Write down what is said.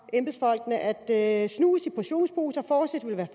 embedsfolkene at snus i portionsposer fortsat vil være